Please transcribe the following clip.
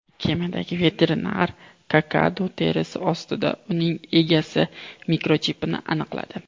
Kemadagi veterinar kakadu terisi ostida uning egasi mikrochipini aniqladi.